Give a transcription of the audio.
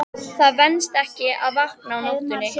Það venst ekki að vakna á nóttunni.